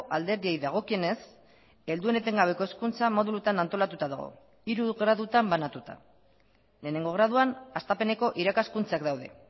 alderdiei dagokienez helduen etengabeko hezkuntza modulutan antolatuta dago hiru gradutan banatuta lehenengo graduan hastapeneko irakaskuntzak daude